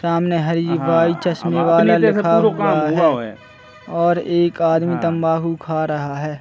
सामने हरी भाई चश्मे वाला लिखा हुआ है और एक आदमी तम्बाकू खा रहा है।